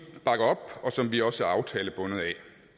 bakker op og som vi også er aftalebundet af